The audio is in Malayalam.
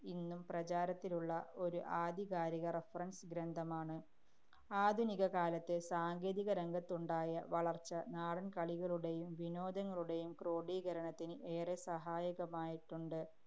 ഇന്നും പ്രചാരത്തിലുള്ള ഒരു ആധികാരിക reference ഗ്രന്ഥമാണ്. ആധുനികകാലത്ത് സാങ്കേതികരംഗത്തുണ്ടായ വളര്‍ച്ച നാടന്‍ കളികളുടെയും വിനോദങ്ങളുടെയും ക്രോഡീകരണത്തിന് ഏറെ സഹായകരമായിട്ടുണ്ട്.